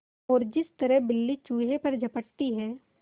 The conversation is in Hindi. और जिस तरह बिल्ली चूहे पर झपटती है